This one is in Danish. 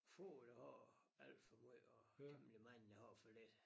Få der har alt for meget og temmelig mange der har for lidt